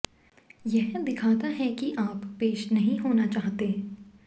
यह दिखाता है कि आप पेश नहीं होना चाहते